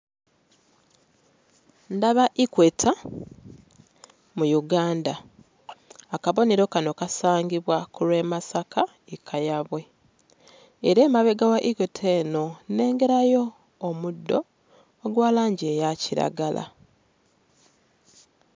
Ndaba equator mu Uganda akabonero kano kasangibwa ku lw'e Masaka e Kayabwe era emabega wa equator eno nnengerayo omuddo ogwa langi eya kiragala.